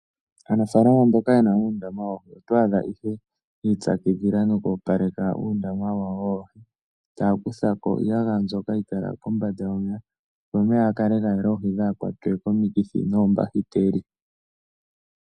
Aanafalama mboka ye na uundama woohi oto adha ihe yi ipyakidhila noku opaleka uundama wawo woohi taya kutha ko iiyagaya mbyoka hayi kala kombanda yomeya, opo omeya ga kale ga yela oohi dhaa kwatwe komikithi noombahiteli.